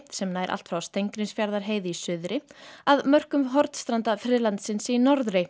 sem ná allt frá Steingrímsfjarðarheiði í suðri að mörkum Hornstrandafriðlandsins í norðri